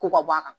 Ko ka bɔ a kan